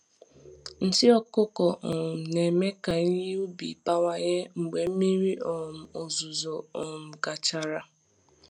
Nsị ọkụkọ um na-eme ka ihe ubi bawanye mgbe mmiri um ozuzo um gachara.